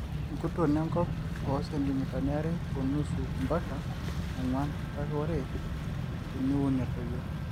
enktuon enkop ooo sentimitani are o nusu mpaka oonguan kake ore tiniun etoyio